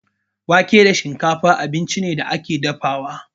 Wake da shinkafa abinci ne da ake dafawa.